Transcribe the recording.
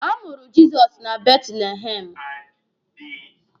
A mụrụ Jizọs na Betlihemụ.